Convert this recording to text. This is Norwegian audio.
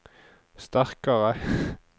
sterkare